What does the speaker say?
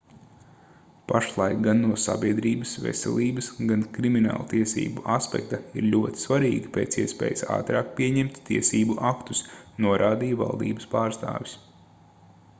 pašlaik gan no sabiedrības veselības gan krimināltiesību aspekta ir ļoti svarīgi pēc iespējas ātrāk pieņemt tiesību aktus norādīja valdības pārstāvis